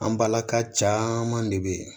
An balaka caman de bɛ yen